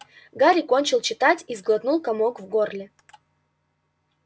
гарри кончил читать и сглотнул комок в горле